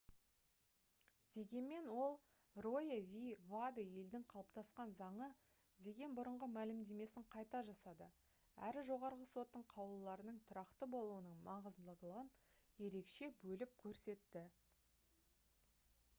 дегенмен ол «roe v. wade» «елдің қалыптасқан заңы» деген бұрынғы мәлімдемесін қайта жасады әрі жоғарғы соттың қаулыларының тұрақты болуының маңыздылығын ерекше бөліп көрсетті